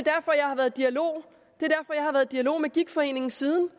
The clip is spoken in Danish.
er dialog med gigtforeningen siden